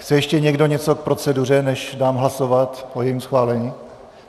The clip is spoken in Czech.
Chce ještě někdo něco k proceduře, než dám hlasovat o jejím schválení?